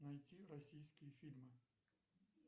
найти российские фильмы